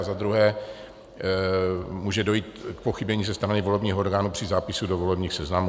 A za druhé, může dojít k pochybení ze strany volebních orgánů při zápisu do volebních seznamů.